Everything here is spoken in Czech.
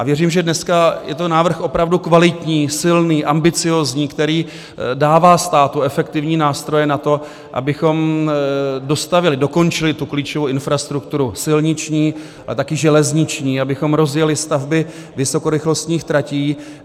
A věřím, že dneska je to návrh opravdu kvalitní, silný, ambiciózní, který dává státu efektivní nástroje na to, abychom dostavěli, dokončili, tu klíčovou infrastrukturu silniční a také železniční, abychom rozjeli stavby vysokorychlostních tratí.